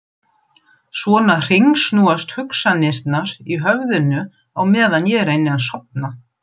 Svona hringsnúast hugsanirnar í höfðinu meðan ég reyni að sofna.